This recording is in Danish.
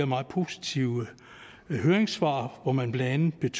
meget positive høringssvar hvor man blandt